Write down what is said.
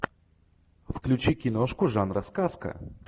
включи киношку жанра сказка